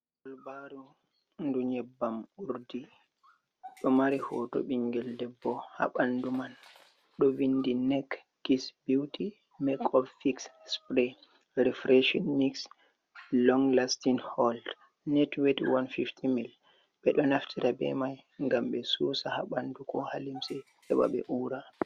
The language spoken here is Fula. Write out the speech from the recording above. Balbaru ndu nyebbam urdi do mari hoto bingel debbo ha bandu man do vindi nek kis beauti mak o fix spray refresion mix long lastin hold netwed 150 000 be do naftira be mai gam be susa ha bandu ko ha limsi heɓa be ura.